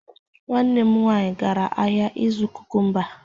Nwanne m nwaanyị gara ahịa ịzụ kukumba.